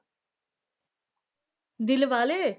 Dilwale.